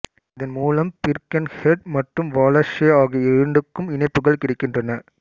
இதன் மூலம் பிர்கென்ஹெட் மற்றும் வாலஸெ ஆகிய இரண்டுக்கும் இணைப்புகள் கிடைக்கின்றன